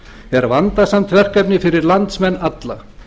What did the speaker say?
er vandasamt verkefni fyrir landsmenn alla